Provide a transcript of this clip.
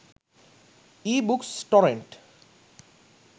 ebooks torrent